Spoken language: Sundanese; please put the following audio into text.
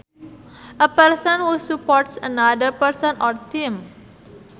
A person who supports another person or team